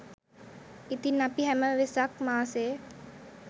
ඉතින් අපි හැම වෙසක් මාසේ